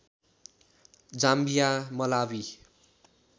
Zambia Malawi